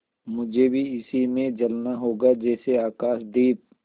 मुझे भी इसी में जलना होगा जैसे आकाशदीप